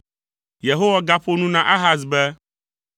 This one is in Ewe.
Yehowa gaƒo nu na Ahaz be,